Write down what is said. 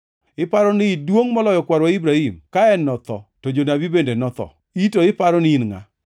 Iparo ni iduongʼ moloyo kwarwa Ibrahim? Ka en notho, to jonabi bende notho, in to iparo ni in ngʼa?”